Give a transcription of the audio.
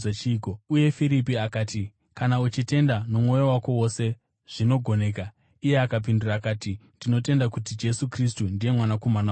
Uye Firipi akati, “Kana uchitenda nomwoyo wako wose, zvinogoneka.” Iye akapindura akati, “Ndinotenda kuti Jesu Kristu ndiye Mwanakomana waMwari.”